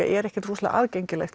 er ekkert rosalega aðgengileg